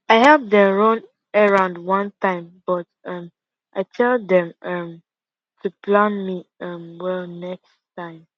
i help dem run errand one time but um i tell dem um to plam am um well next time